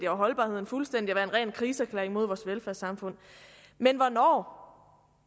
og holdbarheden fuldstændig og være en ren krigserklæring mod vores velfærdssamfund men hvornår